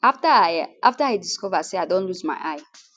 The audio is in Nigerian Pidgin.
afta i afta i discover say i don lose my eye